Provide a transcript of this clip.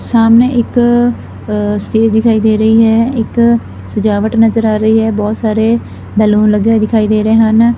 ਸਾਹਮਣੇ ਇੱਕ ਸਟੇਜ ਦਿਖਾਈ ਦੇ ਰਹੀ ਹੈ ਇੱਕ ਸਜਾਵਟ ਨਜਰ ਆ ਰਹੀ ਹੈ ਬੋਹੁਤ ਸਾਰੇ ਬੈਲੂਨ ਲੱਗੇ ਹੋਏ ਦਿਖਾਈ ਦੇ ਰਹੇ ਹਨ।